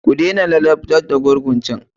Ku dena ladabtar da gurgun can!